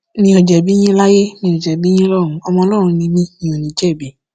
mi ò jẹbi yín láyé mi ò jẹbi yín lọrùn ọmọ ọlọrun ni mi mi ò ní jẹbi